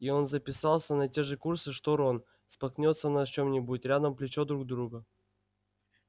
и он записался на те же курсы что рон споткнётся на чём-нибудь рядом плечо друга